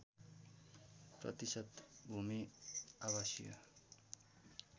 प्रतिशत भूमि आवासिय